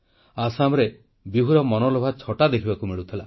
ଆସାମରେ ବିହୁର ମନଲୋଭା ଛଟା ଦେଖିବାକୁ ମିଳୁଥିଲା